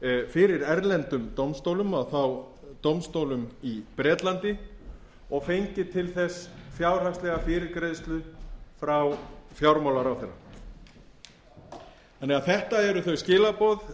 fyrir erlendum dómstólum og þá dómstólum í bretlandi og fengið til þess fjárhagslega fyrirgreiðslu frá fjármálaráðherra þetta eru þau skilaboð